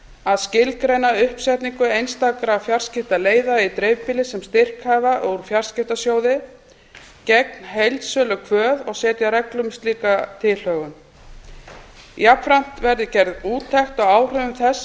að skilgreina uppsetningu einstakra fjarskiptaleiða í dreifbýli sem styrkhæfa úr fjarskiptasjóði gegn heildsölukvöð og setja reglur um slíka tilhögun jafnframt verði gerð úttekt á áhrifum þess að